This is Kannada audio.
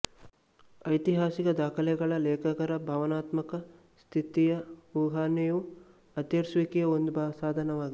ಐತಿಹಾಸಿಕ ದಾಖಲೆಗಳ ಲೇಖಕರ ಭಾವನಾತ್ಮಕ ಸ್ಥಿತಿಯ ಊಹನೆಯು ಅರ್ಥೈಸುವಿಕೆಯ ಒಂದು ಸಾಧನವಾಗಿದೆ